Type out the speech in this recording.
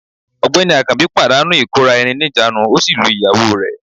Ọ̀gbẹ́ni akanbi pàdánù ìkóra-ẹni-níjàánu, ó sì lu ìyàwó rẹ̀